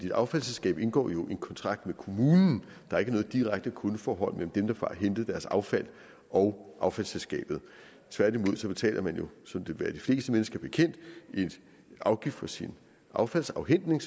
et affaldsselskab indgår jo en kontrakt med kommunen der er ikke noget direkte kundeforhold mellem dem der får hentet deres affald og affaldsselskabet tværtimod betaler man jo som det vil være de fleste mennesker bekendt en afgift for sin affaldsafhentning